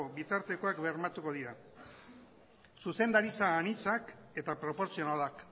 bitartekoak bermatuko dira zuzendaritza anitzak eta proportzionalak